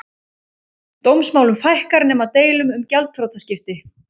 Dómsmálum fækkar nema deilum um gjaldþrotaskipti